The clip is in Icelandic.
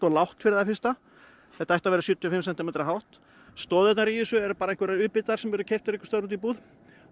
lágt fyrir það fyrsta þetta ætti að vera sjötíu og fimm sentimetra hátt stoðirnar í þessu eru bara einhverjir u bitar sem eru keyptir einhvers staðar úti í búð